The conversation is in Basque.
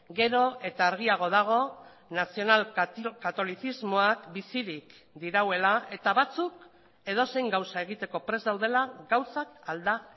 gero eta argiago dago nazional katolizismoak bizirik dirauela eta batzuk edozein gauza egiteko prest daudela gauzak alda